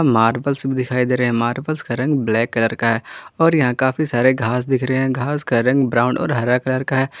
Marbles भी दिखाई दे रहे है मार्बलस का रंग ब्लैक कलर का है और यहाँ काफी सारे घास दिख रहे है घास का रंग ब्राउन और हरा कलर का है।